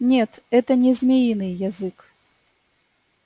нет это не змеиный язык